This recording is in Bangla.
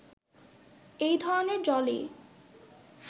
এই ধরনের জলই